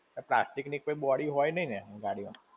Plastic ની કોઈ body હોય નહિ ને ગાડી માં.